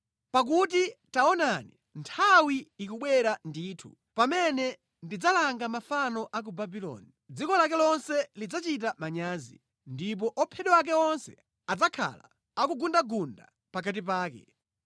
Pakuti taonani, nthawi ikubwera ndithu pamene ndidzalanga mafano a ku Babuloni; dziko lake lonse lidzachita manyazi ndi ophedwa ake onse adzakhala ngundangunda pakati pake.